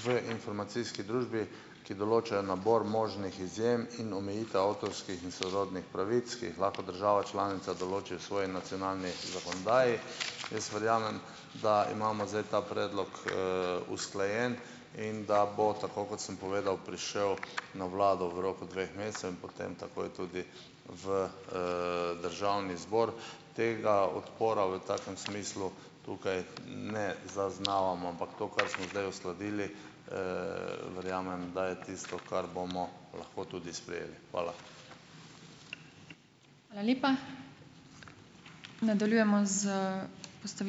v informacijski družbi, ki določajo nabor možnih izjem in omejitev avtorskih in sorodnih pravic, ki jih lahko država članica določi v svoji nacionalni zakonodaji. Jaz verjamem, da imamo zdaj ta predlog, usklajen in da bo, tako kot sem povedal, prišel na vlado v roku dveh mesecev in potem takoj tudi v, državni zbor. Tega odpora v takem smislu tukaj ne zaznavamo, ampak to, kar smo zdaj uskladili, verjamem, da je tisto, kar bomo lahko tudi sprejeli. Hvala.